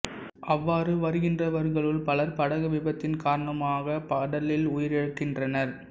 அவ்வாறு வருகின்றவர்களுள் பலர் படகு விபத்தின் காரணமாகக் கடலில் உயிரிழக்கின்றனர்